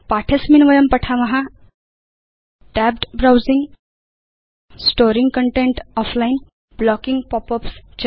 पाठे अस्मिन् वयं पठाम tabbed browsing storing content offline Blocking pop ups च